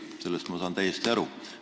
Sellest saan ma täiesti aru.